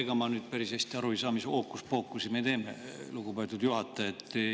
Ega ma nüüd päris hästi aru ei saa, mis hookuspookusi me teeme, lugupeetud juhataja.